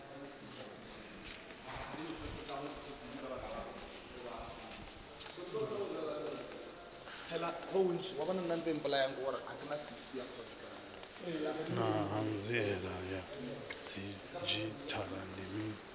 naa hanziela ya didzhithala ndi mini